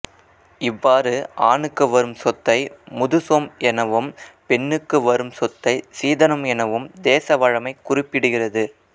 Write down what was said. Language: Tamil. இவ்வாறு ஆணுக்கு வரும் சொத்தை முதுசொம் எனவும் பெண்ணுக்கு வரும் சொத்தை சீதனம் எனவும் தேசவழமை குறிப்பிடுகிறது